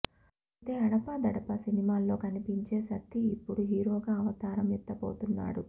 అయితే అడపాదడపా సినిమాల్లో కనిపించే సత్తి ఇప్పుడు హీరోగా అవతారం ఎత్తబోతున్నాడు